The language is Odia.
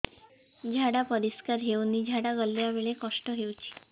ଝାଡା ପରିସ୍କାର ହେଉନି ଝାଡ଼ା ଗଲା ବେଳେ କଷ୍ଟ ହେଉଚି